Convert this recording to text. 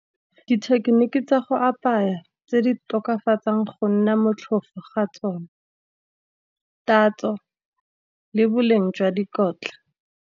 Dithekeniki tsa go apaya tse di tokafatsang go nna motlhofo ga tsone, tatso le boleng jwa dikotla.